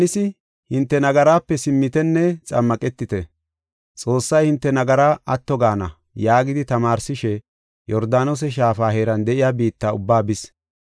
Yohaanisi, “Hinte nagaraape simmitenne xammaqetite. Xoossay hinte nagaraa atto gaana” yaagidi tamaarsishe Yordaanose Shaafa heeran de7iya biitta ubbaa bis.